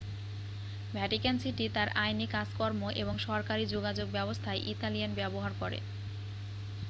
Vatican city তার আইনি কাজকর্ম এবং সরকারী যোগাযোগ ব্যবস্থায় ইতালিয়ান ব্যবহার করে